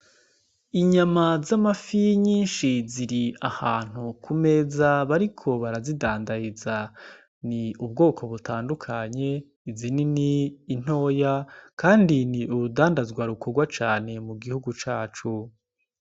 Inyama z'amafi nyinshi ziri ahantu ku meza bariko barazidandaza. Ni ubwoko butandukanye izinini, intoya kandi ni urudandazwa rukorwa cane mu gihugu cacu.